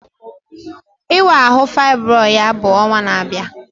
Ịwa ahụ faịbroid ya bụ ọnwa na-abịa